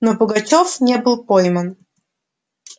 но пугачёв не был пойман